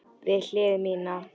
Við hlið mína.